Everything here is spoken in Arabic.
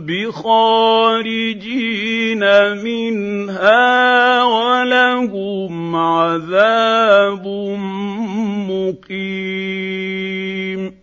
بِخَارِجِينَ مِنْهَا ۖ وَلَهُمْ عَذَابٌ مُّقِيمٌ